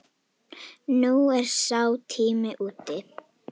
Nú er sá tími úti.